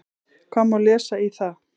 Hvað má lesa í það?